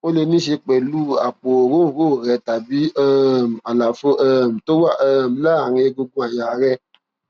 ó lè níí ṣe pẹlú ṣe pẹlú àpò òróǹro rẹ tàbí um àlàfo um tó wà um láàárín egungun àyà rẹ